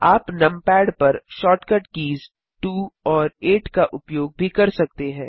आप नमपैड पर shortcut keys 2 और 8 का उपयोग भी कर सकते हैं